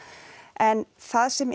en það sem